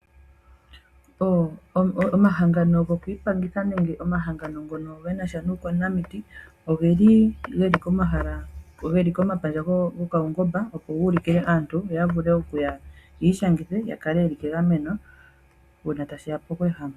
Omahangano gokwiipangitha nenge omahangano ngono genasha nuukwanamiti, oge li kompandja gopaungomba opo guulikile aantu ya vule okuya yiishangithe , ya kale yeli megameno uuna tashiya pokweehama.